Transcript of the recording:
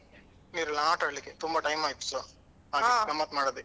ನೀರಲ್ಲಿ ಆಟ ಆಡ್ಲಿಕ್ಕೆ ತುಂಬಾ time ಆಯ್ತುಸ ಗಮ್ಮತ್ ಮಾಡದೆ..